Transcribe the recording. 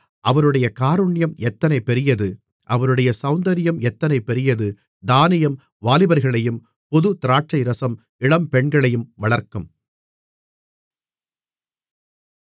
அவருடைய காருண்யம் எத்தனை பெரியது அவருடைய சௌந்தரியம் எத்தனை பெரியது தானியம் வாலிபர்களையும் புது திராட்சைரசம் இளம்பெண்களையும் வளர்க்கும்